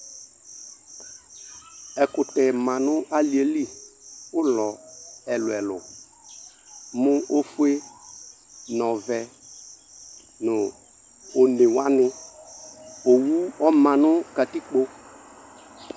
Ɛkutɛ manʋ alieliƲlɔ ɛlu ɛlu mu: Ofue, nu ɔvɛ, nu onewaniOwu ɔma nʋ katikpo